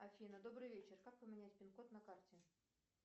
афина добрый вечер как поменять пин код на карте